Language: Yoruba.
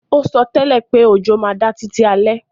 O sótẹ́lẹ̀ pé òjò má da títí alẹ́